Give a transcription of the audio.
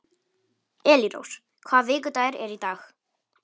Elírós, hvaða vikudagur er í dag?